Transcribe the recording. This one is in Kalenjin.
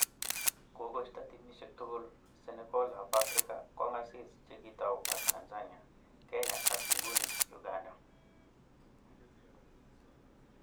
Kokoisto timisiek tugul Senegal ab Africa kong'asis chikitau ak Tanzania, Kenya ak nguni Uganda.